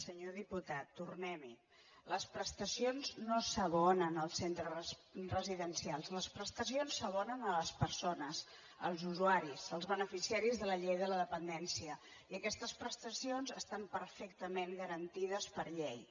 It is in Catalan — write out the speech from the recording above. senyor diputat tornem·hi les prestacions no s’abonen als centres residencials les prestacions s’abonen a les persones als usuaris als be·neficiaris de la llei de la dependència i aquestes pres·tacions estan perfectament garantides per llei